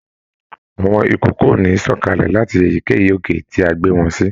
Àwọn ikòkò o ní sọ̀kalẹ̀ láti èyíkéyìí òkè ti a gbe wọn si.